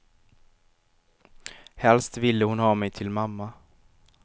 Helst ville hon ha mig till mamma.